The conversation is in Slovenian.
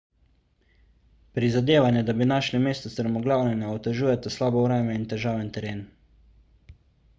prizadevanja da bi našli mesto strmoglavljenja otežujeta slabo vreme in težaven teren